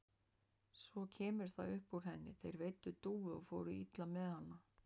Svo kemur það upp úr henni: Þeir veiddu dúfu og fóru illa með hana.